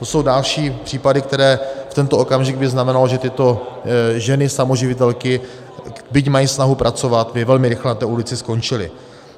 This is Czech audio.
To jsou další případy, které v tento okamžik by znamenaly, že tyto ženy samoživitelky, byť mají snahu pracovat, by velmi rychle na té ulici skončily.